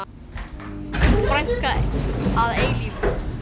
Þín frænka að eilífu.